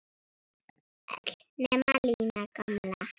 Öll nema Lína gamla.